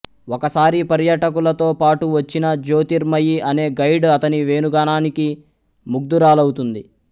ఒకసారి పర్యాటకులతో పాటు వచ్చిన జ్యోతిర్మయి అనే గైడ్ అతని వేణుగానానికి ముగ్ధురాలవుతుంది